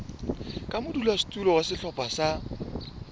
ka modulasetulo wa sehlopha sa